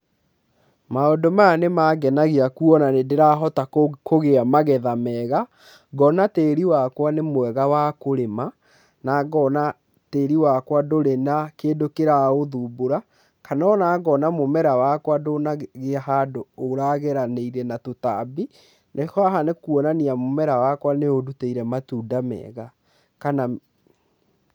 Maũndũ maya nĩ mangenagia kuona nĩ ndĩrahota kũgĩa magetha mega, ngona tĩri wakwa nĩ mwega wa kũrĩma na ngona tĩri wakwa ndũrĩ na kĩndũ kĩraũthumbũra, kana ona ngona mũmera wakwa ndũnagĩa handũ ũrageranĩire na tũtambi, rĩu haha nĩ kuonania mũmera wakwa nĩ ũndutĩire matunda mega kana....